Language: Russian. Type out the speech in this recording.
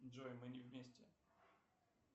джой мы не вместе